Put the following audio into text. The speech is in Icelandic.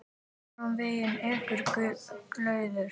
Áfram veginn ekur glaður.